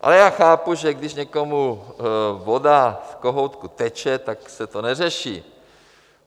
Ale já chápu, že když někomu voda z kohoutku teče, tak se to neřeší.